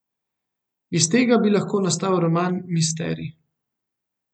Iz tega bi lahko nastal roman misterij.